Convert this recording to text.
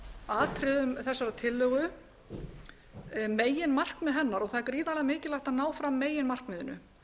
atriðum þessarar tillögu meginmarkmið hennar og það er gríðarlega mikilvægt að ná fram meginmarkmiðinu